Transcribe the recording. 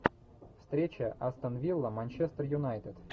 встреча астон вилла манчестер юнайтед